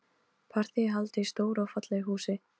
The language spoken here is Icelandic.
Partíið er haldið í stóru og fallegu húsi.